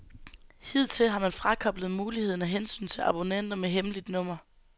Hidtil har man frakoblet muligheden af hensyn til abonnenter med hemmeligt nummer.